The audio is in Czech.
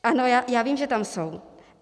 Ano, já vím, že tam jsou.